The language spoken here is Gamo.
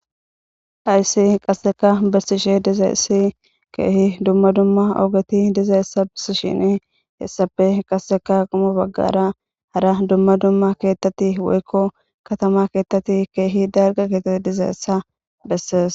Haysi qasseka bessishe dizayessi keehi dumma dumma oogati dizayessa bissishini hessafe qasseka qumo baggara hara dumma dumma keettati woykko katama keettati keehi darga keeta dizayessa bessees.